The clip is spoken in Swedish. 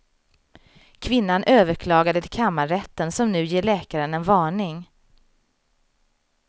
Kvinnan överklagade till kammarrätten som nu ger läkaren en varning.